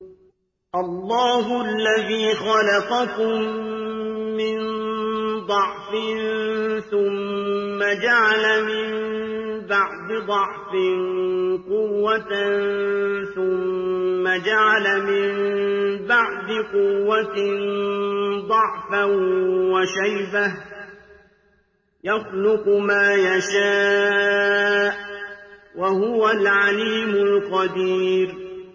۞ اللَّهُ الَّذِي خَلَقَكُم مِّن ضَعْفٍ ثُمَّ جَعَلَ مِن بَعْدِ ضَعْفٍ قُوَّةً ثُمَّ جَعَلَ مِن بَعْدِ قُوَّةٍ ضَعْفًا وَشَيْبَةً ۚ يَخْلُقُ مَا يَشَاءُ ۖ وَهُوَ الْعَلِيمُ الْقَدِيرُ